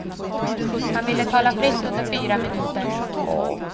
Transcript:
Han ville tala fritt under fyra minuter.